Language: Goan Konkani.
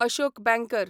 अशोक बँकर